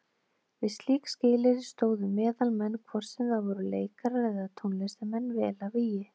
Við slík skilyrði stóðu meðalmenn, hvort sem það voru leikarar eða tónlistarmenn, vel að vígi.